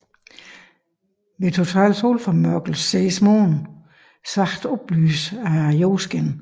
Ved total måneformørkelse ses Månen svagt oplyst af jordskinnet